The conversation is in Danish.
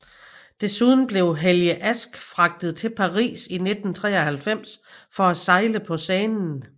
Desuden blev Helge Ask fragtet til Paris i 1993 for at sejle på Seinen